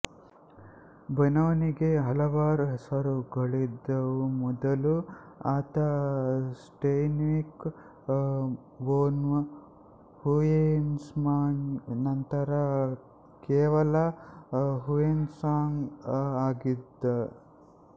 ಬೊನೊನಿಗೆ ಹಲವಾರು ಹೆಸರುಗಳಿದ್ದವುಮೊದಲು ಆತ ಸ್ಟೆನ್ವಿಕ್ ವೊನ್ ಹುಯೆಸ್ಮ್ಯಾನ್ ನಂತರ ಕೇವಲ ಹುಯೆಸ್ಮ್ಯಾನ್ ಆಗಿದ್ದ